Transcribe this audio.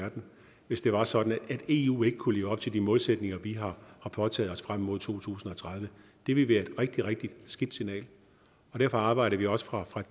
verden hvis det var sådan at eu ikke kunne leve op til de målsætninger vi har påtaget os frem mod to tusind og tredive det ville være et rigtig rigtig skidt signal og derfor arbejdede vi også fra